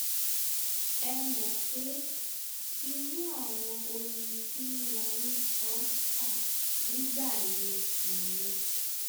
ẹ mọ pé irú àwọn orin tí wọn ń kọ wà nígbà yẹn nìyẹn